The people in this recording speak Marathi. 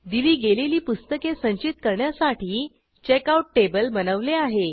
दिली गेलेली पुस्तके संचित करण्यासाठी चेकआउट टेबल बनवले आहे